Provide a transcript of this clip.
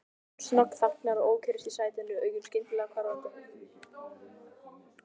Hún snöggþagnar, ókyrrist í sætinu, augun skyndilega hvarflandi.